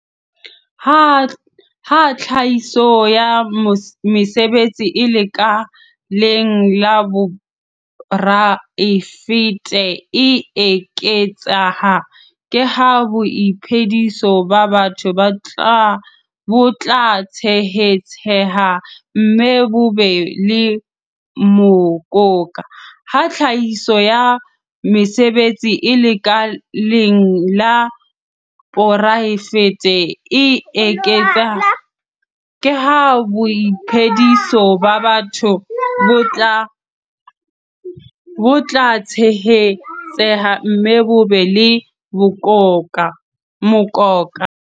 Ha tlhahiso ya mesebetsi e lekaleng la poraefete e eketseha, ke ha boiphediso ba batho bo tla tshehetseha mme bo be le mokoka.